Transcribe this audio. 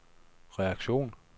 reaktion